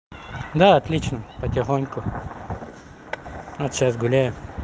да отлично потихоньку ну сейчас гуляю